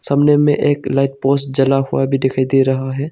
सामने में एक लाइट पोस्ट जला हुआ भी दिखाई दे रहा है।